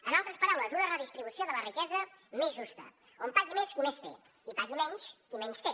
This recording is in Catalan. en altres paraules una redistribució de la riquesa més justa on pagui més qui més té i pagui menys qui menys té